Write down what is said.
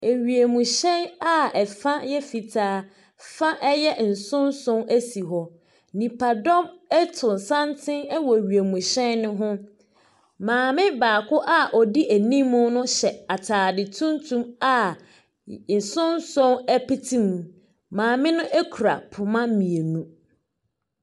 Ewiemuhyɛn a ɛfa yɛ fitaa fa ɛyɛ nsonson esi hɔ. Nipa dɔm ɛto santen ɛwɔ wiemuhyɛn ne ho. Maame baako a odi enim no hyɛ ataare tuntum a nsoso ɛpeti mu. Maame no ekura poma mienu.